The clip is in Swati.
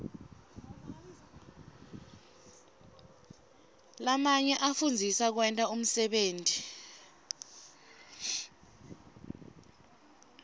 lamanye afundzisa kwenta umsebenti